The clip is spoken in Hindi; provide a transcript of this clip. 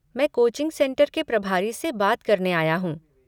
मैं कोचिंग सेंटर के प्रभारी से बात करने आया हूँ।